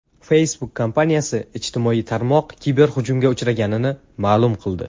Facebook kompaniyasi ijtimoiy tarmoq kiberhujumga uchraganini ma’lum qildi.